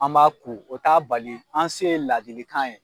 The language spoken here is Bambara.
An m'a kun o t'a bali an se ye ladilikan ye